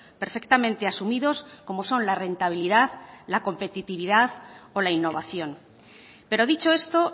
perfectamente asumidos como son la rentabilidad la competitividad o la innovación pero dicho esto